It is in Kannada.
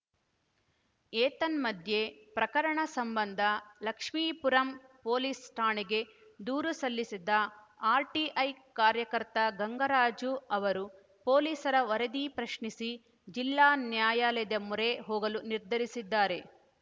ಏತನ್ಮಧ್ಯೆ ಪ್ರಕರಣ ಸಂಬಂಧ ಲಕ್ಷ್ಮೀಪುರಂ ಪೊಲೀಸ್‌ ಠಾಣೆಗೆ ದೂರು ಸಲ್ಲಿಸಿದ್ದ ಆರ್‌ಟಿಐ ಕಾರ್ಯಕರ್ತ ಗಂಗರಾಜು ಅವರು ಪೊಲೀಸರ ವರದಿ ಪ್ರಶ್ನಿಸಿ ಜಿಲ್ಲಾ ನ್ಯಾಯಾಲಯದ ಮೊರೆ ಹೋಗಲು ನಿರ್ಧರಿಸಿದ್ದಾರೆ